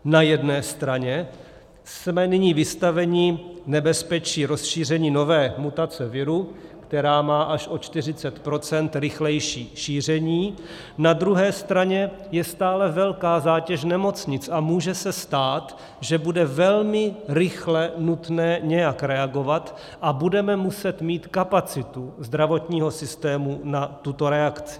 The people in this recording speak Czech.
Na jedné straně jsme nyní vystaveni nebezpečí rozšíření nové mutace viru, která má až o 40 % rychlejší šíření, na druhé straně je stále velká zátěž nemocnic a může se stát, že bude velmi rychle nutné nějak reagovat a budeme muset mít kapacitu zdravotního systému na tuto reakci.